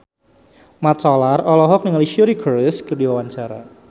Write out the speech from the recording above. Mat Solar olohok ningali Suri Cruise keur diwawancara